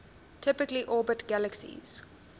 typically orbit galaxies